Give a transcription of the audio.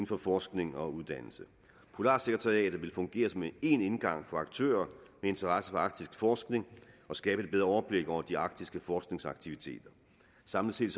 for forskning og uddannelse polarsekretariatet vil fungere som én indgang for aktører med interesse for arktisk forskning og skabe et bedre overblik over de arktiske forskningsaktiviteter samlet set